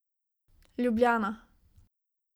Ljubljana.